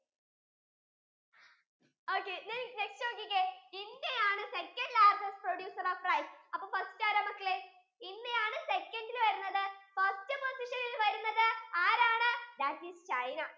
okay now next നോക്കിക്കേ India ആണ് second largest producer of rice അപ്പൊ first ആരാ മക്കളെ ഇന്ത്യ ആണ് second യിൽ വരുന്നത് first position യിൽ വരുന്നത് ആരാണ് that ISചൈന